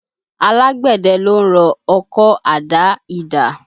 Alágbẹ̀dẹ ló ń rọ ọkọ́, àdá, idà